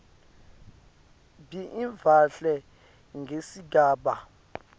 b ivalwe ngesigaba